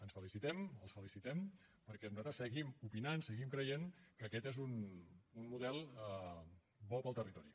ens felicitem els felicitem perquè nosaltres seguim opinant seguim creient que aquest és un model bo per al territori